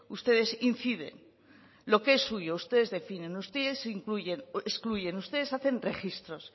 ustedes inciden lo que es suyo ustedes definen ustedes incluyen excluyen ustedes hacen registros